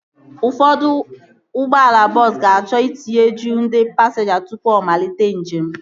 Ụfọdụ ụgbọala bọọsu ga-achọ itinye juu ndị pasinja tụpụ ọ malite njem